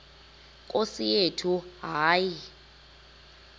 nkosi yethu hayi